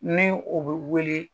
Ni o be wele